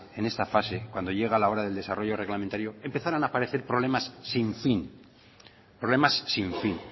en esta fase cuando llega la hora del desarrollo reglamentario empezaran a aparecer problemas sin fin problemas sin fin